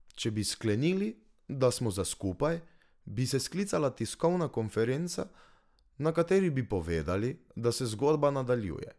Če bi sklenili, da smo za skupaj, bi se sklicala tiskovna konferenca, na kateri bi povedali, da se zgodba nadaljuje.